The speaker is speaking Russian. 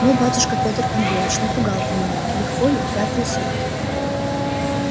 ну батюшка петр андреич напугал ты меня легко ли пятые сутки